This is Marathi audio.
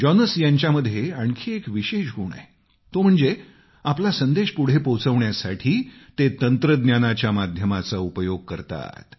जॉनस यांच्यामध्ये आणखी एक विशेष गुण आहे तो म्हणजे आपला संदेश पुढे पोहोचवण्यासाठी ते तंत्रज्ञानाच्या माध्यमाचा उपयोग करतात